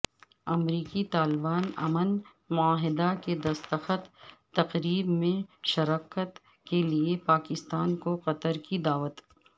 امریکی طالبان امن معاہدہ کی دستخط تقریب میں شرکت کیلئے پاکستان کو قطر کی دعوت